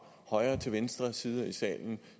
højre til venstre side i salen